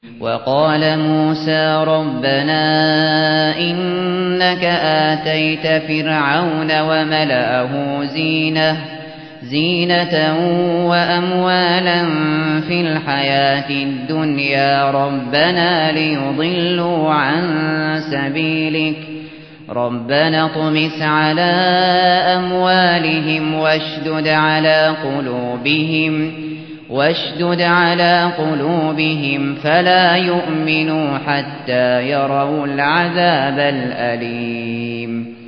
وَقَالَ مُوسَىٰ رَبَّنَا إِنَّكَ آتَيْتَ فِرْعَوْنَ وَمَلَأَهُ زِينَةً وَأَمْوَالًا فِي الْحَيَاةِ الدُّنْيَا رَبَّنَا لِيُضِلُّوا عَن سَبِيلِكَ ۖ رَبَّنَا اطْمِسْ عَلَىٰ أَمْوَالِهِمْ وَاشْدُدْ عَلَىٰ قُلُوبِهِمْ فَلَا يُؤْمِنُوا حَتَّىٰ يَرَوُا الْعَذَابَ الْأَلِيمَ